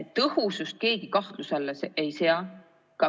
Tõhusust keegi kahtluse alla ei sea.